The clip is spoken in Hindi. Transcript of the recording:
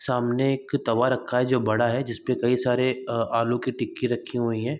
सामने एक तवा रखा है जो बड़ा है जिसमें कई सारे आलू की टिक्की रखे हुए हैं।